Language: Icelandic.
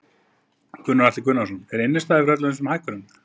Gunnar Atli Gunnarsson: Er innistæða fyrir öllum þessum hækkunum?